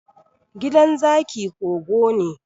The Lion's house is a cave.